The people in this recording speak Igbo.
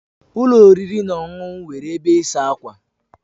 Ụlọ oriri na ọṅụṅụ nwere ebe ịsa ákwà.